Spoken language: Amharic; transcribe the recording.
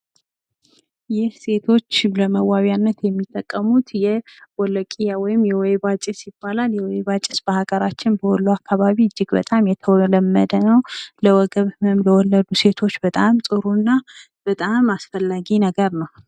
ይህ ሴቶች ለመዋቢነት የሚጠቀሙት የቦለቂያ ወይም የወይባ ጭስ ይባላል። የወይባ ጭስ በሀገራችን በወሎ አካባቢ እጅግ በጣም የተለመደ ነው። ለወገብ ህመም ለወለዱ ሴቶች በጣም ጥሩና በጣም አስፈላጊ ነገር ነው።